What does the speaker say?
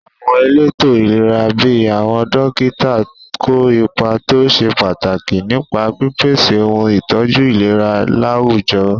Àwọn elétò ìlera bíi àwọn dókítà kó ipa tó ṣe pàtàkì nípa pípèsè ohun ìtọ́jú ìlera láwùjọ.